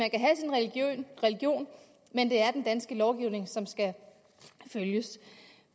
religion men det er den danske lovgivning som skal følges